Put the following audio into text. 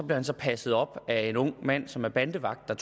blev så passet op af en ung mand som var bandevagt og